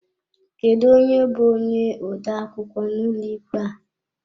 Kedụ onye bú onye odeakwụkwọ n'ụlọ ikpe a?